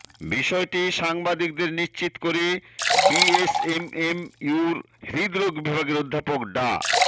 বিষয়টি সাংবাদিকদের নিশ্চিত করে বিএসএমএমইউর হৃদরোগ বিভাগের অধ্যাপক ডা